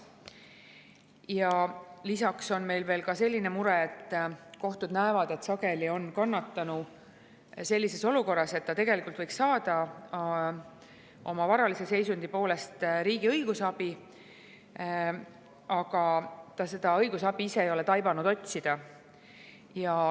Ja lisaks on meil veel selline mure, et kohtud näevad, et sageli on kannatanu sellises olukorras, et ta tegelikult võiks saada oma varalise seisundi poolest riigi õigusabi, aga ta seda õigusabi ise ei ole taibanud otsida.